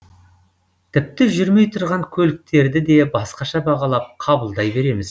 тіпті жүрмей тұрған көліктерді де басқаша бағалап қабылдай береміз